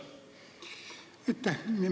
Aitäh!